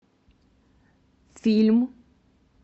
фильм